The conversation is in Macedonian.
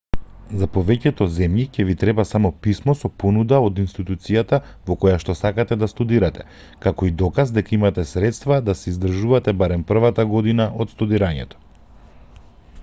за повеќето земји ќе ви треба само писмо со понуда од институцијата во којашто сакате да студирате како и доказ дека имате средства да се издржувате барем првата година од студирањето